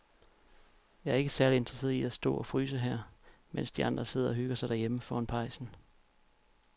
Jeg er ikke særlig interesseret i at stå og fryse her, mens de andre sidder og hygger sig derhjemme foran pejsen.